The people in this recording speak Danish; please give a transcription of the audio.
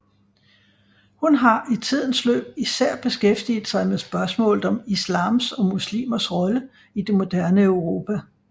Hun har i tidens løb især beskæftiget sig med spørgsmålet om islams og muslimers rolle i det moderne Europa